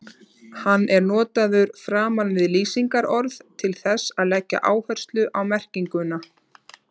Hann er notaður framan við lýsingarorð til þess að leggja áherslu á merkinguna.